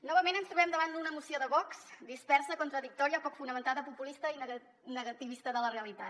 novament ens trobem davant d’una moció de vox dispersa contradictòria poc fonamentada populista i negativista de la realitat